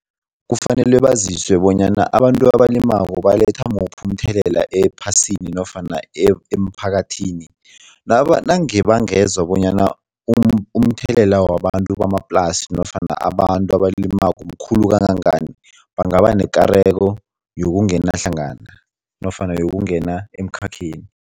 Kufanele baziswe bonyana abantu abalimako baletha muphi umthelela ephasini nofana emphakathini nange bangeza bonyana umthelela wabantu bamaplasi nofana abantu abalimako mkhulu kangangani, bangaba nekareko yokungena hlangana nofana yokungena emkhakheni.